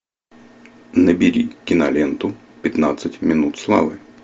набери киноленту пятнадцать минут славы